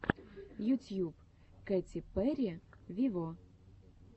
ютьюб кэти перри вево